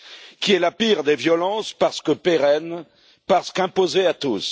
qui est la pire des violences parce que pérenne, parce qu'imposée à tous.